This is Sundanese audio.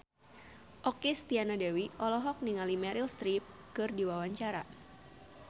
Okky Setiana Dewi olohok ningali Meryl Streep keur diwawancara